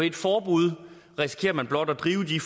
et forbud risikerer man blot at drive de